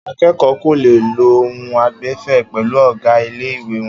Akẹ́kọ̀ọ́ kò le lo ohùn àìgbẹ̀fẹ̀ pẹ̀lú ọ̀gá ilé-ìwé wọn.